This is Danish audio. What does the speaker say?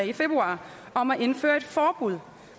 i februar om at indføre forbud